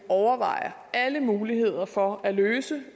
overvejer alle muligheder for at løse